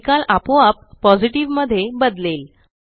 निकाल आपोआप पॉझिटिव्ह मध्ये बदलेल